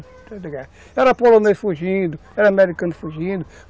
Era polonês fugindo, era americano fugindo.